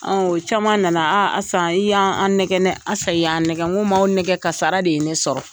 O caman nana, a Asan i y'an an nɛgɛ Asa i y'an nɛgɛ, n ko m'aw nɛgɛ kasara de ye, ne sɔrɔ.